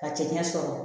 Ka cɛncɛn sɔrɔ